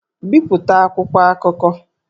Bipụta akwụkwọ akụkọ!